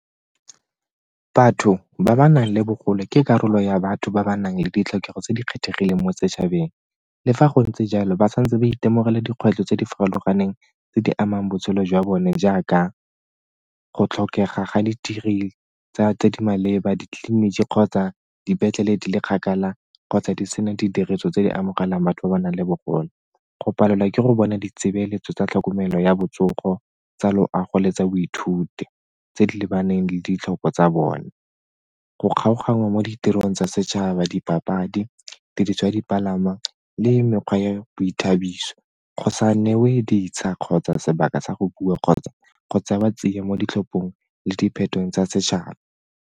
Batho ba ba nang le bogole ke karolo ya batho ba ba nang le ditlhokego tse di kgethegileng mo setšhabeng. Le fa go ntse jalo, ba sa ntse ba itemogela dikgwetlho tse di farologaneng tse di amang botshelo jwa bone jaaka go tlhokega ga ditirelo tse di maleba ditleliniki kgotsa dipetlele di le kgakala kgotsa di sena didiriso tse di amogelang batho ba ba nang le bogole. Go palelwa ke go bona ditshebeletso tsa tlhokomelo ya botsogo, tsa loago le tsa boithuti tse di lebaneng le ditlhopho tsa bone, go kgaoganngwa mo ditirong tsa setšhaba, dipapadi, diriswa, dipalangwa le mekgwa ya boithabiso go sa newe kgotsa sebaka sa go bua kgotsa e ba tseya mo ditlhophong le diphetong tsa setšhaba.